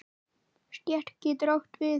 Stétt getur átt við